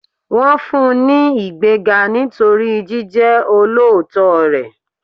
Wọn fún un ní ìgbéga nítorí jíjẹ olóòótọ́ rẹ̀.